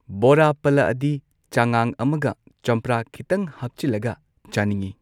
ꯕꯣꯔꯥ ꯄꯜꯂꯛꯑꯗꯤ ꯆꯉꯥꯡ ꯑꯃꯒ ꯆꯝꯄ꯭ꯔꯥ ꯈꯤꯇꯪ ꯍꯥꯞꯆꯤꯜꯂꯒ ꯆꯥꯅꯤꯡꯉꯤ꯫